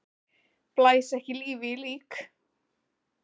Blæs ekki lífi í lík!